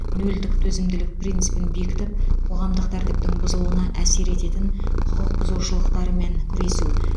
нөлдік төзімділік принципін бекітіп қоғамдық тәртіптің бұзылуына әсер ететін құқық бұзушылықтармен күресу